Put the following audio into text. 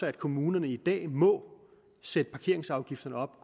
at kommunerne i dag må sætte parkeringsafgifterne op